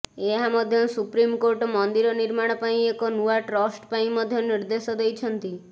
ଏହାସହ ସୁପ୍ରିମକୋର୍ଟ ମନ୍ଦିର ନିର୍ମାଣ ପାଇଁ ଏକ ନୂଆ ଟ୍ରଷ୍ଟ ପାଇଁ ମଧ୍ୟ ନିର୍ଦ୍ଦେଶ ଦେଇଛନ୍ତି